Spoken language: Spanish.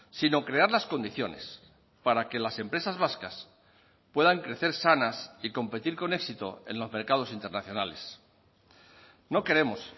sino crear las condiciones para que las empresas vascas puedan crecer sanas y competir con éxito en los mercados internacionales no queremos